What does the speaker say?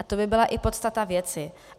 A to by byla i podstata věci.